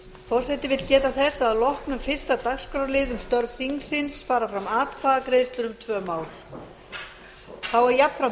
forseti vill geta þess að að loknum fyrsta dagskrárlið um störf þingsins fara fram atkvæðagreiðslur um tvö mál þá er jafnframt